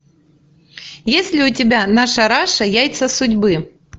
есть ли у тебя наша раша яйца судьбы